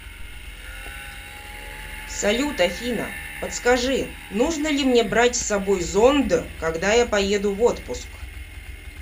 салют афина подскажи нужно ли мне брать с собой зонд когда я поеду в отпуск